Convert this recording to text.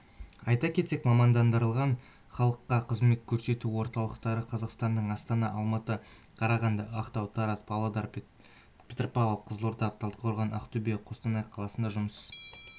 айта кетсек мамандандырылған халыққа қызмет көрсету орталықтары қазақстанның астана алматы қарағанды ақтау тараз павлодар петропавл қызылорда талдықорған ақтөбе қостанай қаласында жұмыс